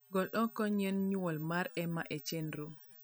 gol oko nyieny nyuol mar emma e chenro